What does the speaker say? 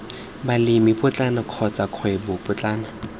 balemi potlana kotsa kgwebo potlana